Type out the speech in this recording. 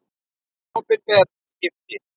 Opinber skipti.